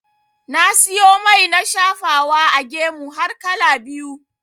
Na siyo mai na shafawa a gemu har kala biyu.